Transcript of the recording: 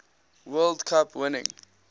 world cup winning